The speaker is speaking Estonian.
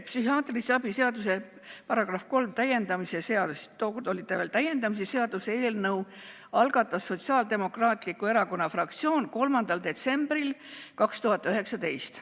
Psühhiaatrilise abi seaduse § 3 täiendamise seaduse eelnõu – tookord oli see veel § 3 täiendamise seaduse eelnõu – algatas Sotsiaaldemokraatliku Erakonna fraktsioon 3. detsembril 2019.